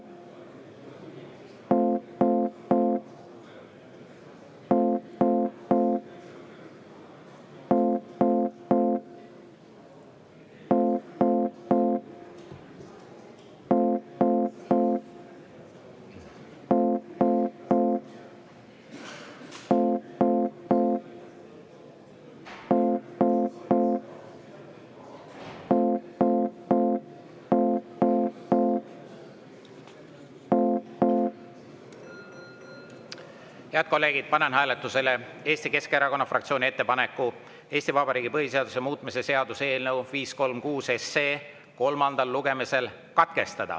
Head kolleegid, panen hääletusele Eesti Keskerakonna fraktsiooni ettepaneku Eesti Vabariigi põhiseaduse muutmise seaduse eelnõu 536 kolmas lugemine katkestada.